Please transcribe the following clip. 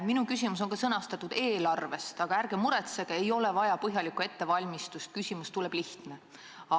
Minu küsimuse teema on "Eelarve", aga ärge muretsege, ei ole vaja põhjalikku ettevalmistust, küsimus tuleb lihtne.